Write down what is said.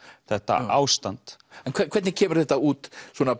þetta ástand en hvernig kemur þetta út